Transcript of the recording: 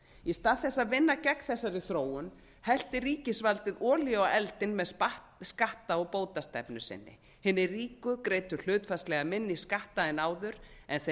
í stað þess að vinna gegn þessari þróun hellti ríkisvaldið olíu á eldinn með skatta og bótastefnu sinni hinir ríku greiddu hlutfallslega minni skatta en áður en þeir